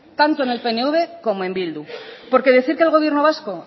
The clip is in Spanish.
tanto en el pnv como en bildu porque decir que el gobierno vasco